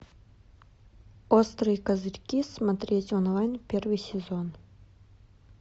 острые козырьки смотреть онлайн первый сезон